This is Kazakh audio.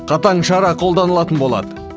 қатаң шара қолданылатын болады